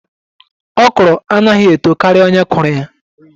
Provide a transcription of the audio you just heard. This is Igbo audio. Okro anaghi eto karia onye kụrụ ya